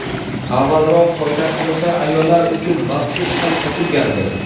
Avvalroq poytaxtimizda ayollar uchun masjid ham ochilgandi.